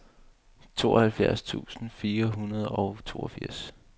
tooghalvfjerds tusind fire hundrede og toogfirs